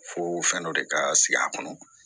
Fo fɛn dɔ de ka sigi a kɔnɔ